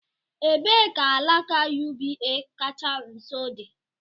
Ebee ka alaka UBA kacha nso dị?